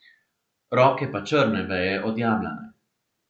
Roke pa črne veje od jablane.